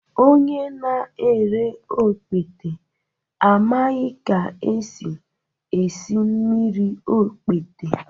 Onye na-ere okpete amaghị ka esi esi mmiri okpete